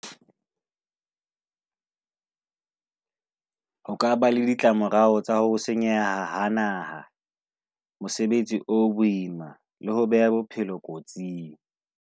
O ka ba le ditlamorao tsa ho senyeha ha naha, mosebetsi o boima le ho beha bophelo kotsing.